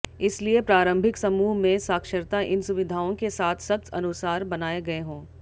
इसलिए प्रारंभिक समूह में साक्षरता इन सुविधाओं के साथ सख्त अनुसार बनाए गए हों